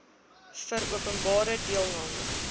vir openbare deelname